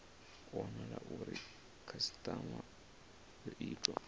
wanala uri khasitama yo ita